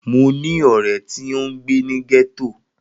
Mo ni ọrẹ ti o ngbe ni getto.